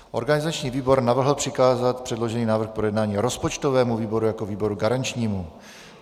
Organizační výbor navrhl přikázat předložený návrh k projednání rozpočtovému výboru jako výboru garančnímu.